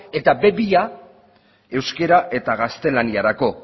eta be bi euskara eta gaztelaniarako